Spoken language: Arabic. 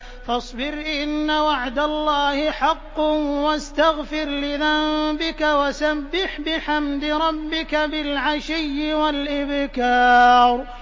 فَاصْبِرْ إِنَّ وَعْدَ اللَّهِ حَقٌّ وَاسْتَغْفِرْ لِذَنبِكَ وَسَبِّحْ بِحَمْدِ رَبِّكَ بِالْعَشِيِّ وَالْإِبْكَارِ